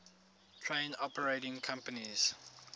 train operating companies